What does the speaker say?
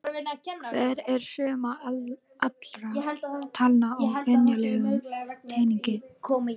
Hver er summa allra talna á venjulegum teningi?